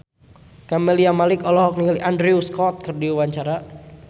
Camelia Malik olohok ningali Andrew Scott keur diwawancara